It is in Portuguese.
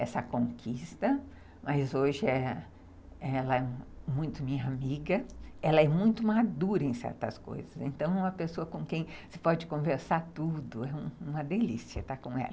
essa conquista, mas hoje ela é muito minha amiga, ela é muito madura em certas coisas, então é uma pessoa com quem se pode conversar tudo, é uma delícia estar com ela.